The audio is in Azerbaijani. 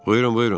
Buyurun, buyurun.